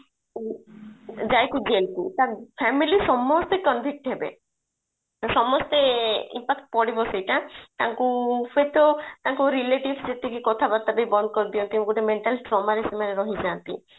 ଯାଏ jail କୁ ତା family ସମସ୍ତେ convict ହେବେ ତ ସମସ୍ତେ effect ପଡିବ ସେଇଟା ତାଙ୍କୁ ସେତ ତାଙ୍କୁ relatives ଯେତିକି କଥାବାର୍ତ୍ତା ବି ବନ୍ଦ କରି ଦିଅନ୍ତି ଗୋଟେ mental trauma ରେ ସେମାନେ ରହିଯାନ୍ତି